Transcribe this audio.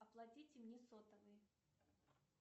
оплатите мне сотовый